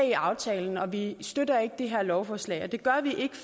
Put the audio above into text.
i aftalen og vi støtter ikke det her lovforslag det gør vi ikke